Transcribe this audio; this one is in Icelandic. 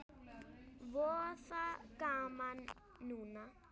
Voða gaman núna.